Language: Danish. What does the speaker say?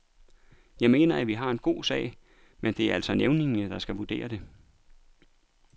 Jeg mener, at vi har en god sag, men det er altså nævningene, der skal vurdere det.